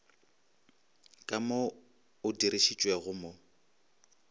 ka mo o dirišitšwego mo